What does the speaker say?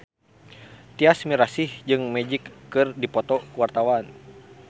Tyas Mirasih jeung Magic keur dipoto ku wartawan